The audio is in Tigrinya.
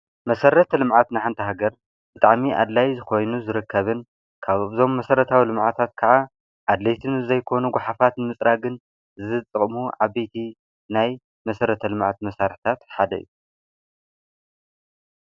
መሰረተ ልምዓት ንሓንቲ ሃገር ብጣዕሚ ኣድላይ ኾይኑ ዝርከብን ካብዞም መሰረታዊ ልምዓታት ክዓ ኣድለይቲ ንዘይኮኑ ጓሓፋትን ንምፅራግን ዝጠቅሙ ዓበይቲ ናይ መሰረተ ልምዓት መሳርሒታት ሓደ እዩ፡፡